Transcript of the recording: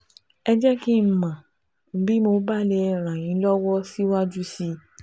Ẹ jẹ́ kí n mọ̀ bí mo bá lè ràn yín lọ́wọ́ síwájú sí i